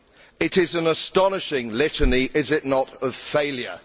It is an astonishing litany, is it not, of failure?